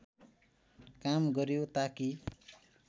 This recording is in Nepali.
काम गर्‍यो ताकि